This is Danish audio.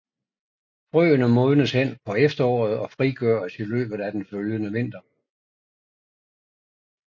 Frøene modnes hen på efteråret og frigøres i løbet af den følgende vinter